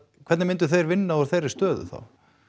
hvernig myndu þeir vinna úr þeirri stöðu það